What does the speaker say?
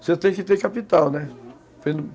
Você tem que ter capital, né?